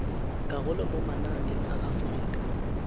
karolo mo mananeng a aforika